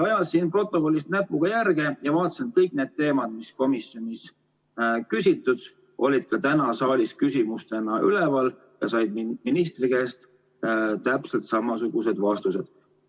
Ajasin protokollis näpuga järge ja vaatasin, et kõik need teemad, mille kohta komisjonis küsiti, olid ka täna saalis küsimustena üleval ja said ministri käest täpselt samasugused vastused.